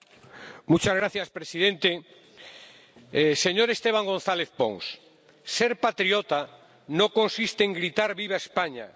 Señor presidente. Señor Esteban González Pons, ser patriota no consiste en gritar ¡Viva España!,